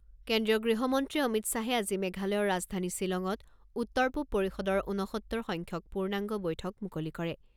কেন্দ্ৰীয় গৃহমন্ত্ৰী অমিত শ্বাহে আজি মেঘালয়ৰ ৰাজধানী শ্বিলঙত উত্তৰ পূৱ পৰিষদৰ ঊনসত্তৰ সংখ্যক পূৰ্ণাংগ বৈঠক মুকলি কৰে।